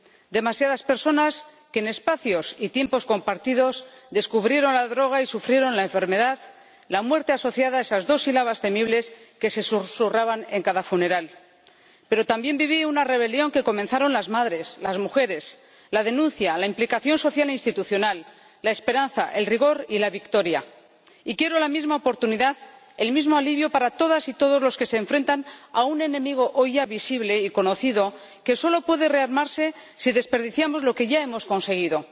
Demasiadas personas que, en espacios y tiempos compartidos, descubrieron la droga y sufrieron la enfermedad, la muerte asociada a esas dos sílabas temibles que se susurraban en cada funeral. Pero también viví una rebelión que comenzaron las madres, las mujeres, la denuncia, la implicación social e institucional, la esperanza, el rigor y la victoria. Y quiero la misma oportunidad, el mismo alivio, para todas y todos los que se enfrentan a un enemigo hoy ya visible y conocido que solo puede rearmarse si desperdiciamos lo que ya hemos conseguido.